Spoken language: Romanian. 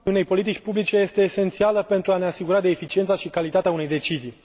unei politici publice este esențială pentru a ne asigura de eficiența și calitatea unei decizii.